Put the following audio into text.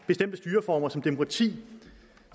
bestemte styreformer som demokrati